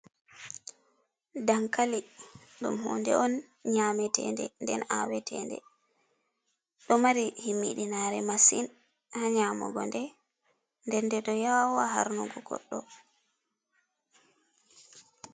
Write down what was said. Dankali, ɗum hunde on nyametende nden awetende ɗo mari himmiɗinare masin ha nyamugode, nden nde ɗo yawa harnugo goɗɗo.